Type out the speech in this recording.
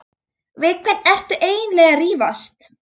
Við hvern ertu eiginlega að rífast?